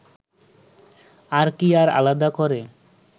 তার কি আর আলাদা করে